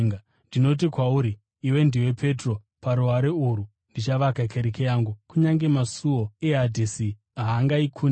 Ndinoti kwauri, iwe ndiwe Petro, paruware urwu ndichavaka kereke yangu, kunyange masuo eHadhesi haangaikundi.